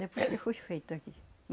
Depois que foi feito aqui.